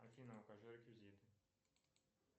афина укажи реквизиты